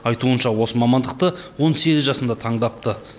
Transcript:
айтуынша осы мамандықты он сегіз жасында таңдапты